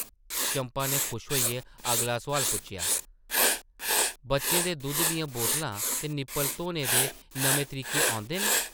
चंपा नै खुश होइयै अगला सोआल पुच्छेआ, ‘‘बच्चें दे दुद्धा दियां बोतलां ते निप्पल धोने दे नमें तरीके औंदे न ?’’